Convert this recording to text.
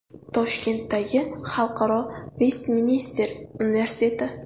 Toshkentdagi Xalqaro Vestminster universiteti.